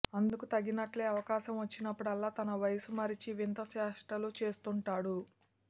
అందుకు తగినట్లే అవకాసం వచ్చినప్పుడల్లా తన వయస్సు మరిచి వింత చేష్టలు చేస్తూంటాడు